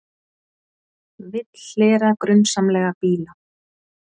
Vill hlera grunsamlega bíla